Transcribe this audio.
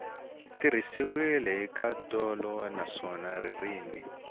tirhisiwile hi nkhaqato naswona ririmi